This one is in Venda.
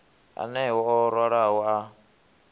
aneo o raloho a a